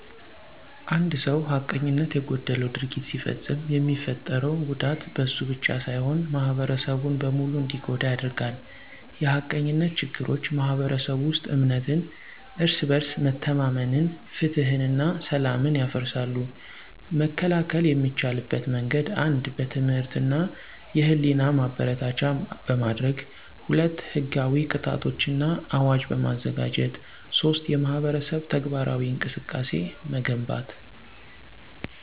አንድ ሰው ሐቀኝነት የጎደለው ድርጊት ሲፈጽም የሚፈጠረው ጉዳት በእሱ ብቻ ሳይሆን ማህበረሰቡን በሙሉ እንዲጎዳ ያደርጋል። የሐቀኝነት ችግሮች ማኅበረሰቡ ውስጥ እምነትን እርስ በርስ መተማመንን ፍትሕን እና ሰላምን ያፈርሳሉ። መከላከል የሚቻልበት መንገድ 1. በትምህርት እና የህሊና ማበረታቻ በማድረግ 2. ሕጋዊ ቅጣቶች እና አዋጅ በማዘጋጀት 3. የማህበረሰብ ተግባራዊ እንቅስቃሴን መገንባት